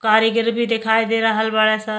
कारीगर बी देखाई दे रहल बाडे स।